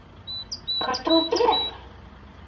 Hvað ert þú að gera?